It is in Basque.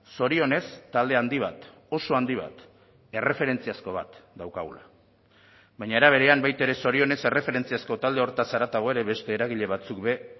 zorionez talde handi bat oso handi bat erreferentziazko bat daukagula baina era berean baita ere zorionez erreferentziazko talde horretaz haratago ere beste eragile batzuk be